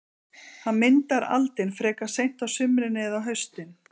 Hann myndar aldin frekar seint á sumrin eða á haustin.